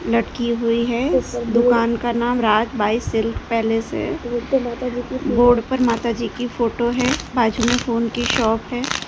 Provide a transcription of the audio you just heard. लटकी हुई है दुकान का नाम राज बाई सिल्क पैलेस है बोर्ड पर माता जी की फोटो है बाजू में फोन की शॉप है।